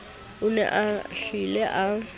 o ne a hlile a